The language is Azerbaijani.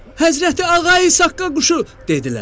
“Həzrəti Ağa İsaqqa quşu!” dedilər.